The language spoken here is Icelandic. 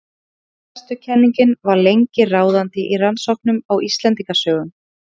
bókfestukenningin var lengi ráðandi í rannsóknum á íslendingasögum